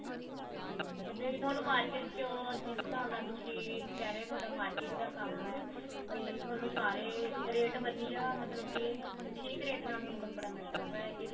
ਮੈਨੂੰ ਵੀ ਥੋਨੂੰ market ਚ ਕਿਉ ਜਿਸ ਹਿਸਾਬ ਨਾਲ ਤੁਸੀਂ ਇਹ ਕਿਹ ਰਹੇ ਹੋ ਥੋੜਾ market ਦਾ ਕੰਮ ਹੈ ਵੀ ਥੋਨੂੰ ਸਾਰੇ rate ਵਧੀਆ ਮਤਲਬ ਕੀ ਠੀਕ rate ਨਾਲ ਥੋਨੂੰ ਕੱਪੜਾ ਮਿਲਦਾ ਹੋਇਗਾ